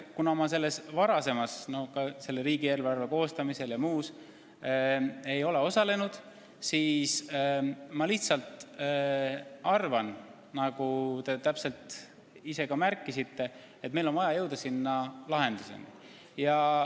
Kuna ma riigieelarve koostamises ja muus varasemas tegevuses ei ole osalenud, siis ma lihtsalt arvan, et nagu te ise ka märkisite, meil on vaja jõuda lahenduseni.